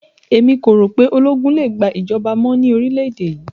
Èmi kò rò pé ologun lè gbà ìjọba mọ́ ní orílẹ̀ èdè yìí